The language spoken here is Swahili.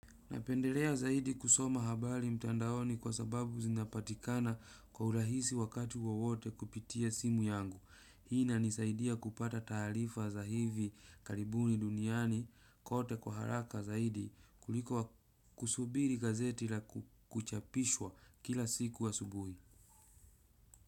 Napendelea zaidi kusoma habari mtandaoni kwa sababu zinapatikana kwa urahisi wakati wowote kupitia simu yangu. Hii inanisaidia kupata taarifa za hivi karibuni duniani kote kwa haraka zaidi kuliko kusubiri gazeti la kuchapishwa kila siku asubuhi.